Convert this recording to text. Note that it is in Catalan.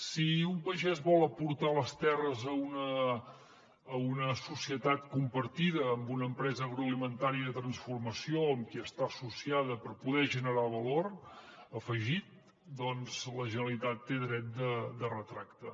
si un pagès vol aportar les terres a una societat compartida amb una empresa agroalimentària de transformació amb qui està associada per poder generar valor afegit doncs la generalitat té dret de retracte